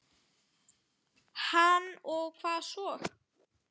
Hann: Og hvað svo?